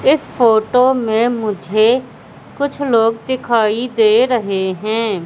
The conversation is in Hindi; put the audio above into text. इस फोटो में मुझे कुछ लोग दिखाई दे रहे है।